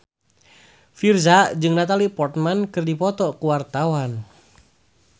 Virzha jeung Natalie Portman keur dipoto ku wartawan